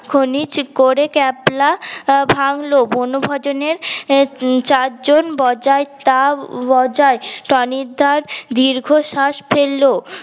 খনিক করে ক্যাবলা ভাঙল বনভোজন এর চার জন বজাই টা বজাই টনিক দা দীর্ঘ শ্বাস ফেলল